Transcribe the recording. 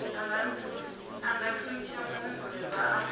a nga thuntsha muhumbulelwa a